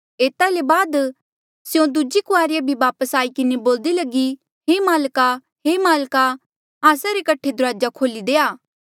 एता ले बाद स्यों दूजी कुआरिया भी वापस आई किन्हें बोल्दी लगी हे माल्का हे माल्का आस्सा रे कठे दुराजा खोल्ही देआ